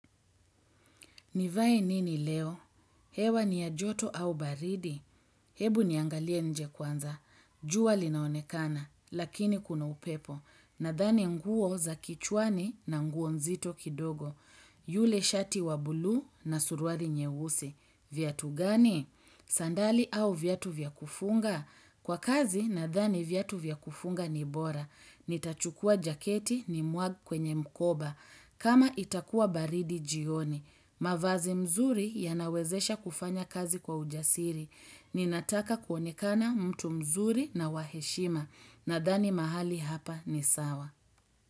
Nivae nini leo? Hewa ni ya joto au baridi? Hebu niangalie nje kwanza. Jua linaonekana, lakini kuna upepo. Nadhani nguo za kichwani na nguo nzito kidogo. Yule shati wa buluu na suruali nyeusi. Viatu gani? Sandali au viatu vya kufunga? Kwa kazi, nadhani viatu vya kufunga ni bora. Nitachukua jaketi nimwage kwenye mkoba. Kama itakua baridi jioni. Mavazi mzuri yanawezesha kufanya kazi kwa ujasiri. Ninataka kuonekana mtu mzuri na wa heshima. Nadhani mahali hapa ni sawa.